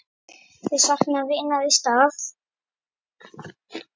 Þau sakna vinar í stað.